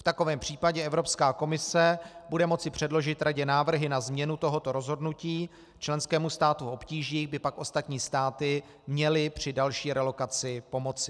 V takovém případě Evropská komise bude moci předložit Radě návrhy na změnu tohoto rozhodnutí, členskému státu v obtížích by pak ostatní státy měly při další relokaci pomoci.